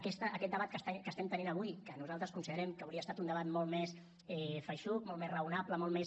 aquest debat que estem tenint avui que nosaltres considerem que hauria estat un debat molt més feixuc molt més raonable molt més